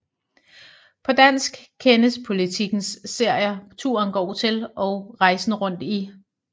På dansk kendes Politikens serier Turen går til og Rejsen rundt i